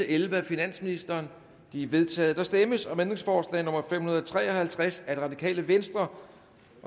elleve af finansministeren de er vedtaget der stemmes om ændringsforslag nummer fem hundrede og tre og halvtreds af rv